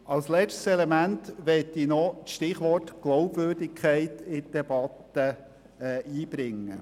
Als letztes Element möchte ich noch das Stichwort Glaubwürdigkeit in die Debatte einbringen.